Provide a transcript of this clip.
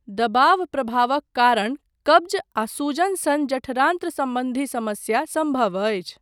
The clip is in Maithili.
दबाव प्रभावक कारण कब्ज आ सूजन सन जठरान्त्र सम्बन्धी समस्या सम्भव अछि।